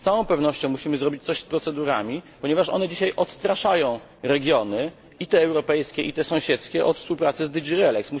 Z całą pewnością musimy zrobić coś z procedurami, ponieważ one dzisiaj odstraszają regiony, i te europejskie, i te sąsiedzkie, od współpracy z DG Relex.